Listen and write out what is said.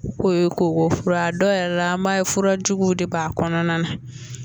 Ko ko fura dɔw yɛrɛ la an b'a ye fura juguw de b'a kɔnɔna na